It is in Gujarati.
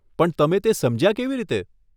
પણ તમે તે સમજ્યા કેવી રીતે?